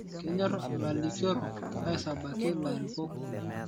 Kenyor lalikoroni aisabaki lairukok